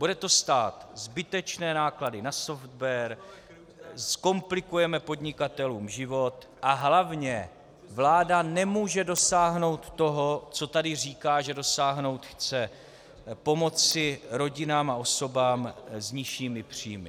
Bude to stát zbytečné náklady na software, zkomplikujeme podnikatelům život a hlavně vláda nemůže dosáhnout toho, co tady říká, že dosáhnout chce - pomoci rodinám a osobám s nižšími příjmy.